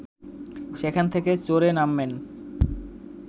সেখান থেকে চরে নামবেন